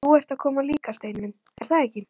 Þú ert að koma líka, Steini minn, er það ekki?